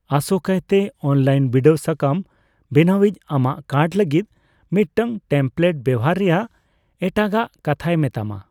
ᱟᱥᱳᱠᱟᱭᱛᱮ, online ᱵᱤᱰᱟᱹᱣ ᱥᱟᱠᱟᱢ ᱵᱮᱱᱟᱣᱤᱡᱪ ᱟᱢᱟᱜ ᱠᱟᱨᱰ ᱞᱟᱹᱜᱤᱫ ᱢᱤᱫᱴᱟᱝ ᱴᱮᱢᱯᱞᱮᱴ ᱵᱮᱣᱦᱟᱨ ᱨᱮᱭᱟᱜ ᱮᱴᱟᱜᱟᱠ ᱠᱟᱛᱷᱟᱭ ᱢᱮᱛᱟᱢᱟ ᱾